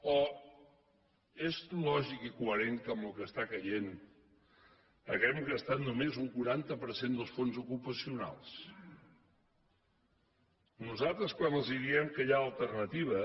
o és lògic i coherent que amb el que està caient hàgim gastat només un quaranta per cent dels fons ocupacionals nosaltres quan els diem que hi ha alternativa